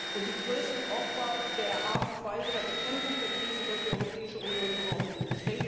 und größten Opfer der Art und Weise der Bekämpfung der Krise durch die Europäische Union geworden sind.